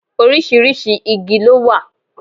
Oríṣiríṣi igi ló wà.